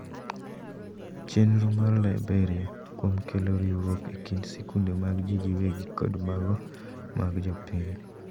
Chenro mar Liberia kuom kelo riwruok ekind sikunde mar ji giwegi kod mago mag jopiny.